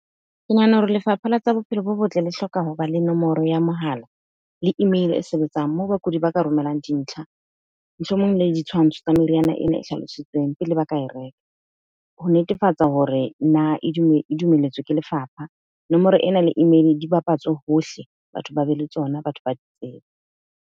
Ke nahana hore lefapha la tsa bophelo bo botle le hloka hoba le nomoro ya mohala le email-e e sebetsang moo bakudi ba ka romelang dintlha, mohlomong le ditshwantsho tsa meriana ena e hlalositsweng pele ba ka e reka ho netefatsa hore na e e dumelletswe ke lefapha. Nomoro ena le email-e di bapatswe hohle. Batho ba be le tsona, batho ba di tsebe.